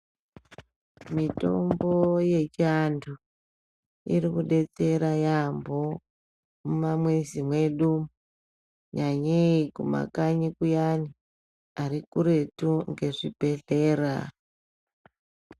Mitombo yechiantu irikubetsera yambo mumamizi mwedu kunyanyei kumakanyi kuyani arikuretu ngezvibhedhlera.